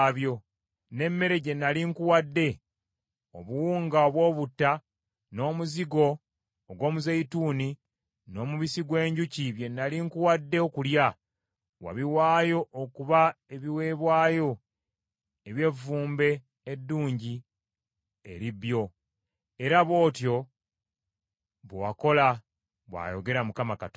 N’emmere gye nnali nkuwadde, obuwunga obw’obutta, n’omuzigo ogw’omuzeyituuni n’omubisi gw’enjuki bye nnali nkuwadde okulya, wabiwaayo okuba ebiweebwayo eby’evvumbe eddungi eri bbyo. Era bw’otyo bwe wakola, bw’ayogera Mukama Katonda.